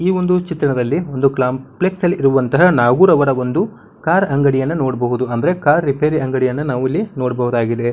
ಈ ಒಂದು ಚಿತ್ರಣದಲ್ಲಿ ಒಂದು ಕಾಂಪ್ಲೆಕ್ಸ್ ನಲ್ಲಿ ಇರುವಂತಹ ನಾವೂರುರವ ಒಂದು ಕಾರ್ ಅಂಗಡಿಯನ್ನ ನೋಡಬಹುದು ಅಂದ್ರೆ ಕಾರ್ ರಿಪೇರ್ ಅಂಗಡಿಯನ್ನ ನಾವಿಲ್ಲಿ ನೋಡಬಹುದಾಗಿದೆ.